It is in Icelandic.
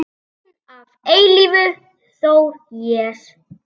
Þinn að eilífu, Þór Jes.